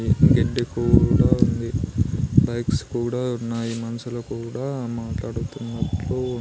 గెడ్డి కూడా ఉంది బైక్స్ కూడా ఉన్నాయి మనుషులు కూడా మాట్లాడుతునట్లు.